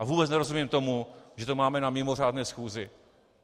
A vůbec nerozumím tomu, že to máme na mimořádné schůzi.